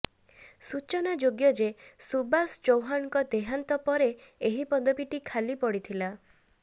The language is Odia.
ସୂଚନାଯୋଗ୍ୟ ଯେ ସୁବାସ ଚୌହାନଙ୍କ ଦେହାନ୍ତ ପରେ ଏହି ପଦବୀଟି ଖାଲି ପଡ଼ିଥିଲା